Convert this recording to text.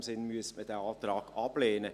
In dem Sinn müsste man den Antrag ablehnen.